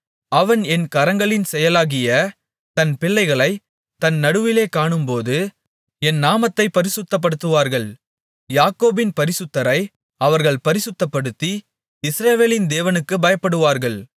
அவன் என் கரங்களின் செயலாகிய தன் பிள்ளைகளை தன் நடுவிலே காணும்போது என் நாமத்தைப் பரிசுத்தப்படுத்துவார்கள் யாக்கோபின் பரிசுத்தரை அவர்கள் பரிசுத்தப்படுத்தி இஸ்ரவேலின் தேவனுக்குப் பயப்படுவார்கள்